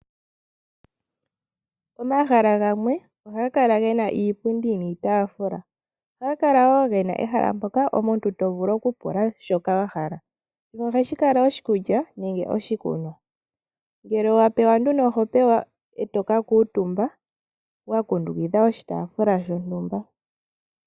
Omahala gamwe ohaga kala gena iipundi niitafula, ohaga kala wo gena ehala mpoka omuntu tovulu oku pula shoka wahala nohashi kala oshi kulya nenge oshikunwa, ngele wa pewa oho pewa e to ka kiitumba wa kundukidha oshitaafula shotumba.